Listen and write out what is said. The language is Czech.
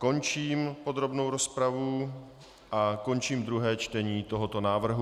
Končím podrobnou rozpravu a končím druhé čtení tohoto návrhu.